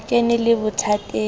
ke ne ke le bothateng